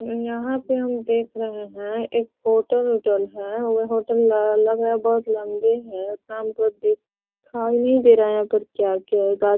यहाँ पे हम देख रहे हैं एक होटल - उटल है वो होटल लग लग रहा है बहुत लम्बे है उतना हमको दिखा ई नहीं दे रहा है क्या-क्या है गा --